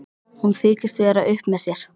Hún þykist vera upp með sér.